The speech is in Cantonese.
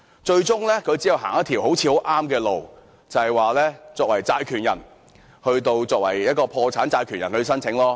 最終只可以走上一條看似正確的路，就是以破產債權人的身份索償。